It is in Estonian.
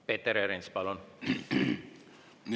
Peeter Ernits, palun!